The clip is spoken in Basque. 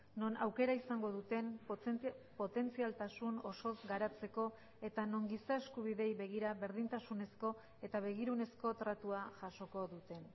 non aukera izango duten potentzialtasun osoz garatzeko eta non giza eskubideei begira berdintasunezko eta begirunezko tratua jasoko duten